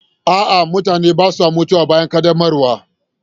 A'a, mutane ba sa mutuwa bayan ƙaddamarwa.